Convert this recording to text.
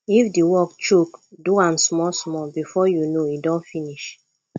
if di work choke do am small small before you know e don finish